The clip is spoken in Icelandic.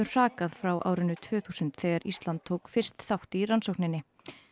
hrakað frá árinu tvö þúsund þegar Ísland tók fyrst þátt í rannsókninni